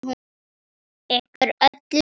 Ykkur öllum!